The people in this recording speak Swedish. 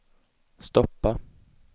stoppa